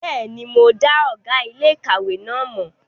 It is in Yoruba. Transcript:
Bẹ́ẹ̀ni, mo dá ọ̀gá iléèkàwé náà mọ̀